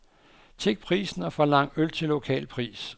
Check prisen og forlang øl til lokal pris.